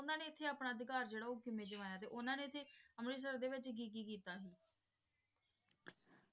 ਓਨਾਨਾ ਨੇ ਏਥੇ ਆਪਣਾ ਅਧਿਕਾਰ ਜੇਰਾ ਊ ਕਿਵੇਂ ਜਮਾਯਾ ਓਹਨਾਂ ਨੇ ਅੰਮ੍ਰਿਤਸਰ ਦੇ ਵਿਚ ਕੀ ਕੀ ਕੀਤਾ ਸੀ